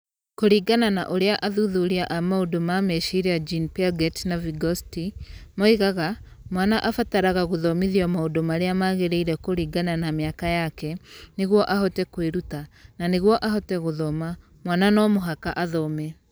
Kũringana na ũrĩa athuthuria a maũndũ ma meciria Jean Piaget na Vygotsky moigaga, mwana abataraga gũthomithio maũndũ marĩa magĩrĩire kũringana na mĩaka yake nĩguo ahote kwĩruta; na nĩguo ahote gũthoma, mwana no mũhaka athome.